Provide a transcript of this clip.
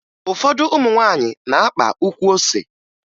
Ụfọdụ ụmụ nwaanyị na-akpa ukwu ose